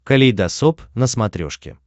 калейдосоп на смотрешке